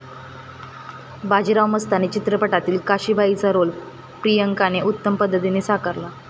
बाजीराव मस्तानी चित्रपटातील काशी बाईंचा रोल प्रियांकाने उत्तम पद्धतीने साकारला.